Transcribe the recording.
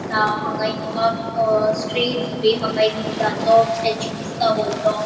अ हान्गा एक मका अ स्ट्रेट फुडे माका एक बुद्धाचो स्टेचू दिसता वोडलों.